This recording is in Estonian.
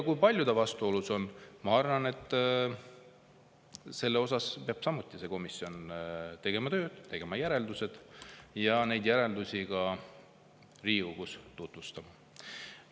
Kui palju ta vastuolus on, selles osas peab samuti see komisjon tööd tegema: tegema järeldused ja neid järeldusi Riigikogus tutvustama.